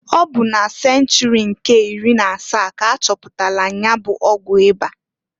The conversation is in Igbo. Ọ bụ na senchuri nke iri na asaa k'achọpụtalụ nya bụ ọgwụ ịba.